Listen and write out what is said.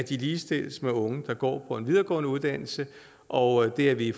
ligestilles med unge der går på en videregående uddannelse og det er vi